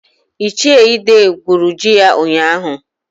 Ichie Ide gwuru ji ya ụnyaahụ.